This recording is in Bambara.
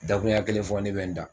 Dakuruɲa kelen fɔ ne bɛ n da.